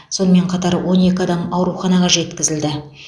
сонымен қатар он екі адам ауруханаға жеткізілді